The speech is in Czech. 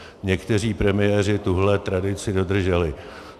Někteří premiéři tuhle tradici dodrželi.